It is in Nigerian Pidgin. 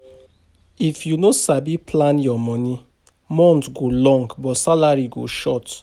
If you no sabi plan your money, month go long but salary go short.